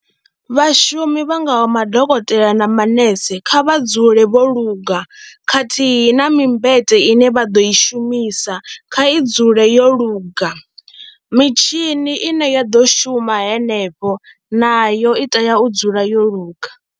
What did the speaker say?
Vhashumi vha ngaho vha madokotela na manese kha vha dzule vho luga khathihi na mmbete ine vha ḓo i shumisa kha i dzule yo luga, mitshini ine ya ḓo shuma henefho nayo i tea u dzula yo luga.